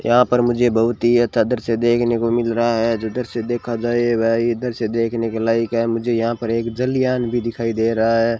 यहां पर मुझे बहुत ही अच्छा दृश्य देखने को मिल रहा है जो दृश्य देखा जाए वह इधर से दृश्य देखने के लायक है मुझे यहां पर एक जलियाँन भी दिखाई दे रहा है।